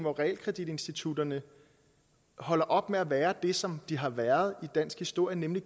realkreditinstitutterne holder op med at være det som de har været i dansk historie nemlig